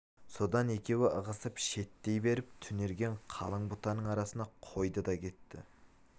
содан екеуі ығысып шеттей беріп түнерген қалың бұтаның арасына қойды да кетті